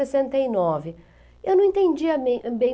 sessenta e nove. Eu não entendia bem